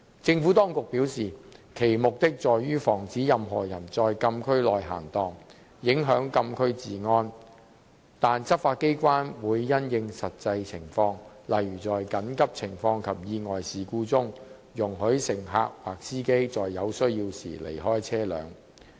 政府當局表示，其目的在於防止任何人在禁區內閒蕩，影響禁區治安，但執法機關會因應實際情況，例如在緊急情況及意外事故中，容許乘客及司機在有需要時離開車輛。